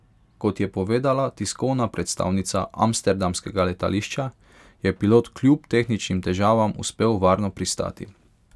Kot je povedala tiskovna predstavnica amsterdamskega letališča, je pilot kljub tehničnim težavam uspel varno pristati.